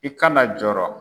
I kana jɔɔrɔ.